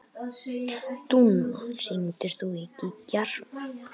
Dúnna, hringdu í Gígjar.